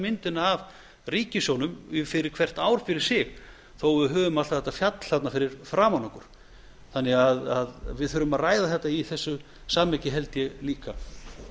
myndina af ríkissjóðnum fyrir hvert ár fyrir sig þó að við höfum alltaf þetta fjall þarna fyrir framan okkur þannig að við þurfum að ræða þetta í þessu samhengi held ég líka